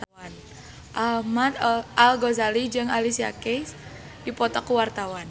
Ahmad Al-Ghazali jeung Alicia Keys keur dipoto ku wartawan